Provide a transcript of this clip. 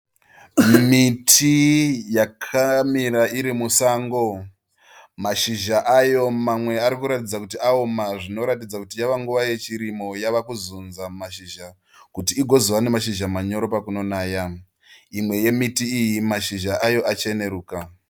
Miti yakamira iri musango . Mashizha ayo mamwe ari kuratidza kuti aoma zvinoratidza kuti yava nguva yechirimo yave kuzunza mashizha kuti igozova nemashizha manyoro pakunonaya. Imwe yemiti iyi mashizha ayo acheneruka.